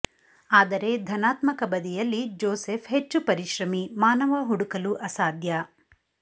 ಆದರೆ ಧನಾತ್ಮಕ ಬದಿಯಲ್ಲಿ ಜೋಸೆಫ್ ಹೆಚ್ಚು ಪರಿಶ್ರಮಿ ಮಾನವ ಹುಡುಕಲು ಅಸಾಧ್ಯ